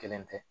Kelen tɛ